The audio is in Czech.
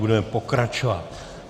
Budeme pokračovat.